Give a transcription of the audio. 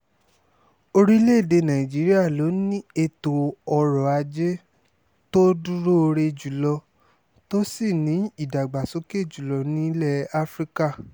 orílẹ̀-èdè nàìjíríà ló ní ètò ọrọ̀ ajé tó dúróore jù lọ tó sì ní ìdàgbàsókè jù lọ nílẹ̀ afrika